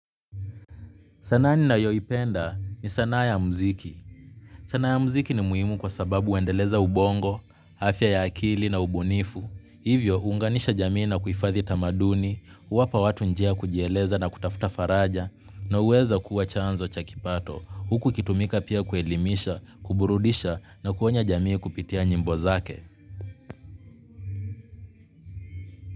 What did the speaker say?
Sanaa ninayoipenda ni sanaa ya mziki. Sanaa ya mziki ni muhimu kwa sababu huendeleza ubongo, afya ya akili na ubunifu. Hivyo, huunganisha jamii na kuhifadhi tamaduni, huwapa watu njia ya kujieleza na kutafuta faraja, na huweza kuwa chanzo cha kipato, huku ikitumika pia kuelimisha, kuburudisha na kuonya jamii kupitia nyimbo zake.